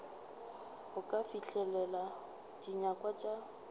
go ka fihlelela dinyakwa tša